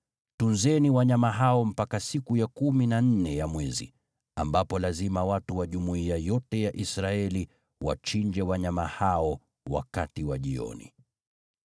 Tunzeni wanyama hao mpaka siku ya kumi na nne ya mwezi, ambapo lazima watu wa jumuiya yote ya Israeli wachinje wanyama hao wakati wa jioni.